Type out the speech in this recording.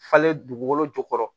Falen dugukolo jukɔrɔ